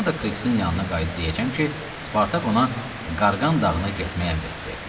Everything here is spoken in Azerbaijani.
Sonra da Krixin yanına qayıdıb deyəcəm ki, Spartak ona Qarğan dağına getməyi əmr etdi.